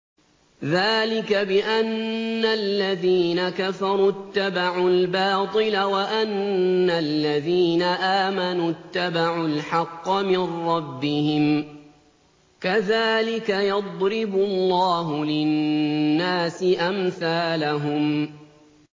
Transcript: ذَٰلِكَ بِأَنَّ الَّذِينَ كَفَرُوا اتَّبَعُوا الْبَاطِلَ وَأَنَّ الَّذِينَ آمَنُوا اتَّبَعُوا الْحَقَّ مِن رَّبِّهِمْ ۚ كَذَٰلِكَ يَضْرِبُ اللَّهُ لِلنَّاسِ أَمْثَالَهُمْ